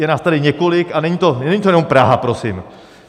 Je nás tady několik a není to jenom Praha, prosím.